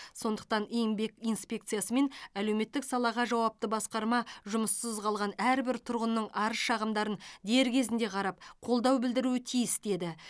сондықтан еңбек инспекциясы мен әлеуметтік салаға жауапты басқарма жұмыссыз қалған әрбір тұрғынның арыз шағымдарын дер кезінде қарап қолдау білдіруі тиіс деді